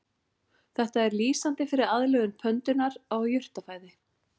Þetta er lýsandi fyrir aðlögun pöndunnar að jurtafæði.